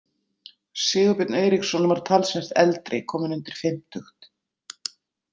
Sigurbjörn Eiríksson var talsvert eldri, kominn undir fimmtugt.